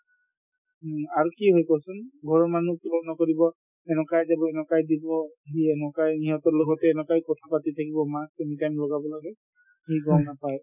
উম, আৰু কি হয় কোৱাচোন ঘৰৰ মানুহ follow নকৰিব এনেকুৱাই যাব এনেকুৱাই দি দিব এনেকুৱাই সিহঁতৰ লগতে এনেকুৱাই কথাপাতি থাকিব mask anytime লগাব লাগে সি গম নাপায়